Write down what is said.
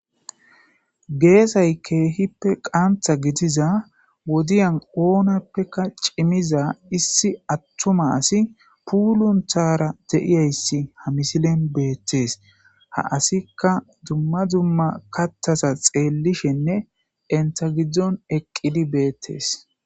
Geesay keehippe qantha gidiza wodiyan oonappeka cimiza issi attuma asi puulunthara de'iyayssi ha misilen beettees ha asikka dumma dzumma kattasa xeellishenne entagiddzon eqqidi beettes